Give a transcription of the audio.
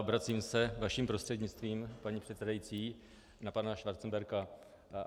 Obracím se vaším prostřednictvím, paní předsedající, na pana Schwarzenberga.